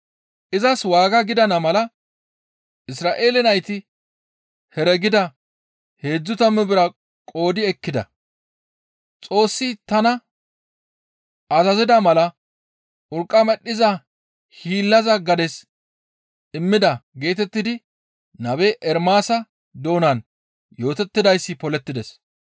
Izas waaga gidana mala, «Isra7eele nayti heregida heedzdzu tammu bira qoodi ekkida. Xoossi tana azazida mala urqqa medhdhiza hiillaza gades immida» geetettidi nabe Ermaasa doonan yootettidayssi polettides.